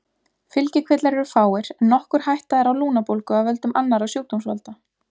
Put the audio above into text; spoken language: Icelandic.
Fylgikvillar eru fáir en nokkur hætta er á lungnabólgu af völdum annarra sjúkdómsvalda.